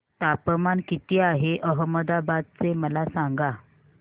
तापमान किती आहे अहमदाबाद चे मला सांगा